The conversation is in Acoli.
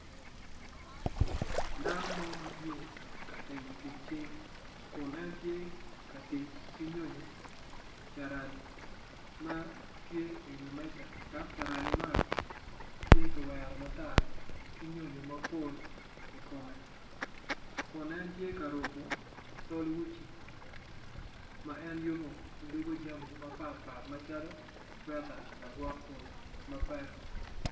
Dano mo matye ka timo tic cing kun en tye ka tic ki nyo nyo carani ma tye i wi meca dok carani man tye kiwero matar ki nyonyo mapol ikome kun en tye ka rupo tol uci ma en yubo dwogo jami mapatpat macalo cweta lagwok koyo mapek